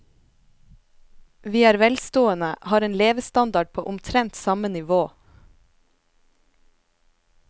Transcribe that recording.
Vi er velstående, har en levestandard på omtrent samme nivå.